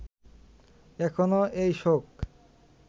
এখনো এই শোক